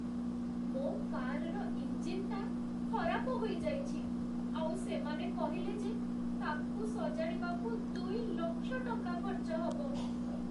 ମୋ କାର୍‌ର ଇଞ୍ଜିନ୍‌ଟା ଖରାପ ହୋଇଯାଇଛି ଆଉ ସେମାନେ କହିଲେ ଯେ ତା'କୁ ସଜାଡ଼ିବାକୁ ଦୁଇ ଲକ୍ଷ ଟଙ୍କା ଖର୍ଚ୍ଚ ହବ!